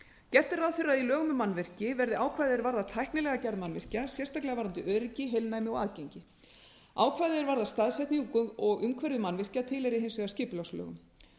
gert er ráð fyrir að í lögum um mannvirki verði ákvæði er varðar tæknilega gerð mannvirkja sérstaklega varðandi öryggi heilnæmi og aðgengi ákvæði er varðar staðfestu og umhverfi mannvirkja tilheyri hins vegar skipulagslögum